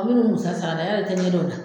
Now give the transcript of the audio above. Aw bɛ minnu san yal'i tɛ ɲɛ dɔn o la